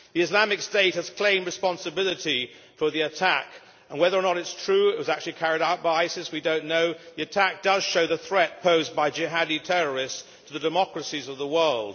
Islamic State has claimed responsibility for the attack, and whether or not it is true that it was actually carried out by ISIS we do not know the attack shows the threat posed by Jihadist terrorists to the democracies of the world.